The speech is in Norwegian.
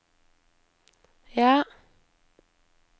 ja